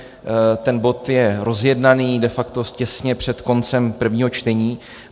Ten bod je rozjednaný, de facto těsně před koncem prvního čtení.